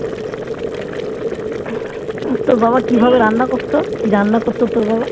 তোর বাবা কিভাবে রান্না করতো কি রান্না করতো তোর বাবা